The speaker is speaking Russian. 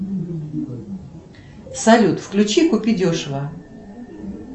салют включи купи дешево